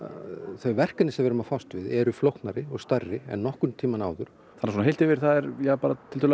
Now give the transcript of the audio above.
þau verkefni sem við erum að fást við eru flóknari og stærri en nokkurn tímann áður þannig að heilt yfir þá er